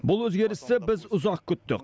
бұл өзгерісті біз ұзақ күттік